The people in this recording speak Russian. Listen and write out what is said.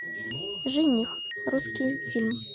жених русский фильм